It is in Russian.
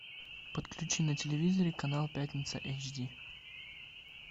подключи на телевизоре канал пятница эйч ди